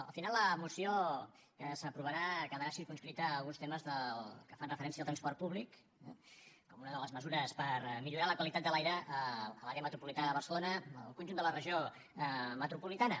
al final la moció s’aprovarà quedarà circumscrita a alguns temes que fan referència al transport públic com una de les mesures per millorar la qualitat de l’aire a l’àrea metropolitana de barcelona al conjunt de la regió metropolitana